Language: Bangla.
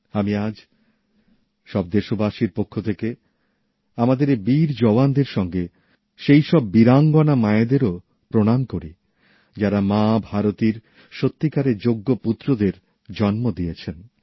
আমি আজ সব দেশবাসীর পক্ষ থেকে আমাদের এই বীর জওয়ানদের সঙ্গে সেই সব বীরাঙ্গনা মায়েদেরও প্রণাম করি যাঁরা মাভারতীর সত্যিকারের যোগ্য পুত্রদের জন্ম দিয়েছেন